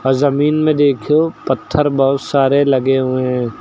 जमीन में देखो पत्थर बहुत सारे लगे हुए हैं।